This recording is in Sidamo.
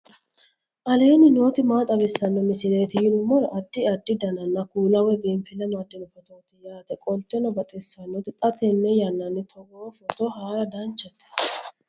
aleenni nooti maa xawisanno misileeti yinummoro addi addi dananna kuula woy biinfille amaddino footooti yaate qoltenno baxissannote xa tenne yannanni togoo footo haara danchate